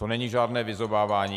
To není žádné vyzobávání.